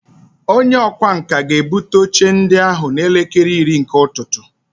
Onye ọkwá nkà ga-ebute oche ndị ahụ n'elekere iri nke ụtụtụ